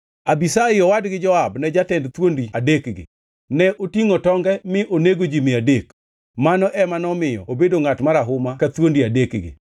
Abishai owadgi Joab ne jatend thuondi adekgi. Ne otingʼo tonge mi onego ji mia adek, mano ema nomiyo obedo ngʼat marahuma ka thuondi adekgi.